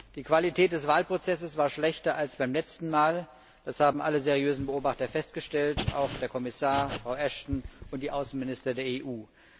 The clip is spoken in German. Die Qualität des Wahlprozesses war schlechter als beim letzten Mal, das haben alle seriösen Beobachter festgestellt, auch der Kommissar, Frau Ashton und die Außenminister der EU.